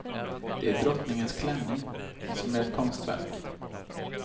Det är drottningens klänning som är ett konstverk.